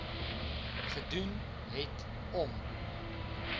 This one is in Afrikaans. gedoen het om